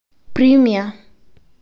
Premia.